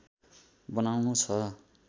बनाउनु छ